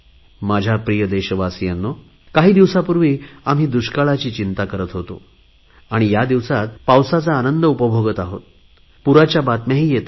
माझ्या प्रिय देशवासियांनो काही दिवसापूर्वी आम्ही दुष्काळाची चिंता करत होतो या दिवसात पावसाचा आनंद उपभोगत आहोत तर पुरांच्या बातम्याही येत आहेत